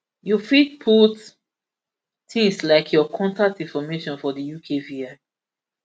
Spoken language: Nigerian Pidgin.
you fit put tins like your contact information for di ukvi